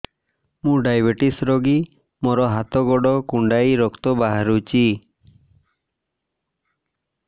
ମୁ ଡାଏବେଟିସ ରୋଗୀ ମୋର ହାତ ଗୋଡ଼ କୁଣ୍ଡାଇ ରକ୍ତ ବାହାରୁଚି